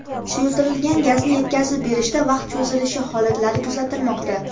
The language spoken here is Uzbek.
Suyultirilgan gazni yetkazib berishda vaqt cho‘zilishi holatlari kuzatilmoqda.